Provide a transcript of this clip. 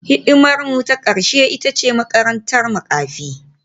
Hidimarmu ta ƙarshe ita ce makarantar makafi